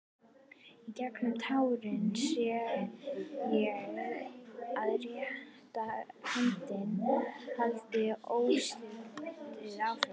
Í gegnum tárin sé ég að réttarhöldin halda óslitið áfram.